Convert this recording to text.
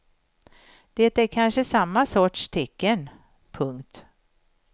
Det är kanske samma sorts tecken. punkt